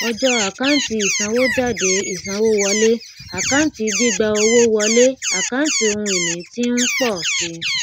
ọjọ àkántì isanwójádé ìsanwówọlé àkáǹtí gbígbà owó wọlé àkáǹtí ohùn ìní tí ń pọ sí